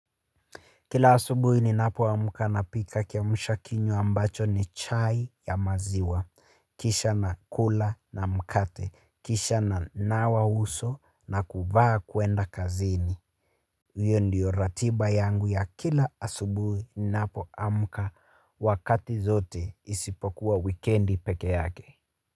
Kila asubuhi ninapoamka napika kiamsha kinywa ambacho ni chai ya maziwa. Kisha nakula na mkate. Kisha ninanawa uso na kuvaa kwenda kazini. Hiyo ndiyo ratiba yangu ya kila asubuhi ninapoamka wakati zote isipokuwa wikiendi peke yake.